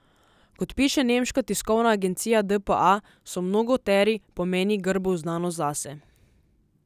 Kot piše nemška tiskovna agencija dpa, so mnogoteri pomeni grbov znanost zase.